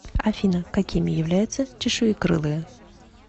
афина какими являются чешуекрылые